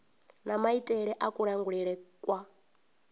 na maitele a kulangulele kwa